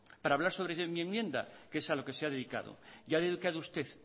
para hablar sobre mi enmienda que es a lo que se ha dedicado y ha dedicado usted